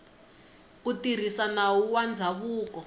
ku tirhisa nawu wa ndzhavuko